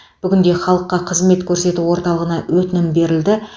бүгінде халыққа қызмет көрсету орталығына өтінім берілді